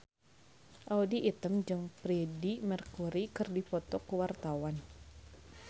Audy Item jeung Freedie Mercury keur dipoto ku wartawan